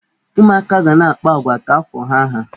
Ụmụaka ga na-akpa agwa ka afọ ha há.